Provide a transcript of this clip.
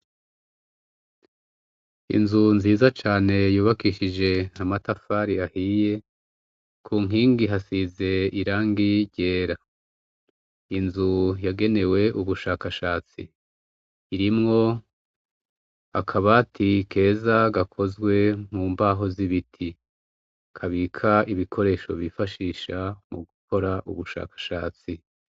Inzu nziza cane yubakishije na matafari ahiye ku nkingi hasize irangi gyera inzu yagenewe ubushakashatsi irimwo akaba ati keza gakozwe mu mbaho z'ibiti kabika ibikoresho bifashisha mu gukora ubushakashatsi.